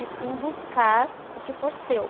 E sim buscar o que for seu.